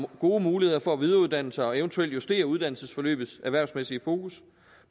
gode muligheder for at videreuddanne sig og eventuelt justere uddannelsesforløbets erhvervsmæssige fokus